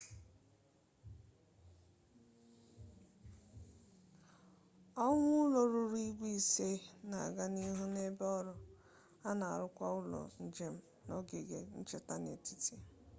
owuwu ụlọ ruru igwe ise na-aga n'ihu n'ebe ọrụ a na arụkwa ụlọ njem na ogige ncheta n'etiti